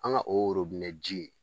An ga o ji